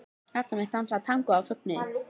Hjarta mitt dansaði tangó af fögnuði.